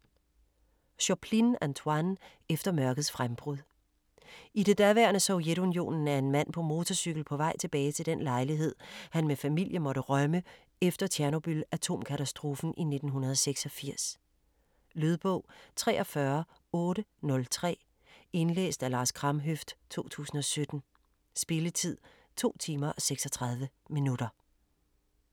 Choplin, Antoine: Efter mørkets frembrud I det daværende Sovjetunionen er en mand på motorcykel på vej tilbage til den lejlighed han med familie måtte rømme efter Tjernobyl-atomkatastrofen i 1986. Lydbog 43803 Indlæst af Lars Kramhøft, 2017. Spilletid: 2 timer, 36 minutter.